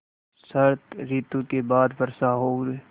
शरत ॠतु के बाद वर्षा और